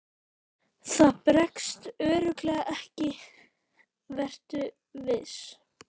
Það bregst örugglega ekki, vertu viss.